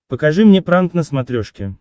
покажи мне пранк на смотрешке